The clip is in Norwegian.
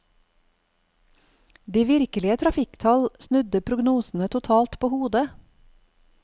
De virkelige trafikktall snudde prognosene totalt på hodet.